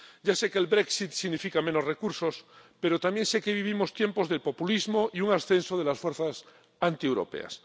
Ya sé que el Brexit significa menos recursos, pero también sé que vivimos tiempos de populismo y un ascenso de las fuerzas antieuropeas.